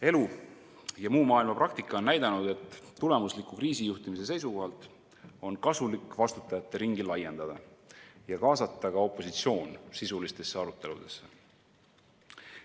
Elu ja muu maailma praktika on näidanud, et tulemusliku kriisijuhtimise seisukohalt on kasulik vastutajate ringi laiendada ja kaasata ka opositsioon sisulistesse aruteludesse.